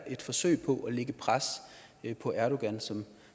et forsøg på at lægge pres på erdogan som